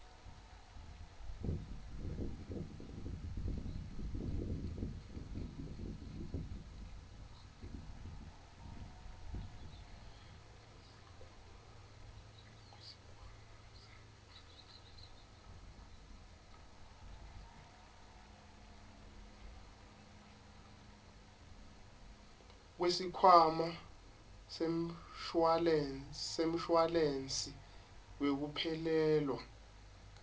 kwesikhwama semshuwalensi wekuphelelwa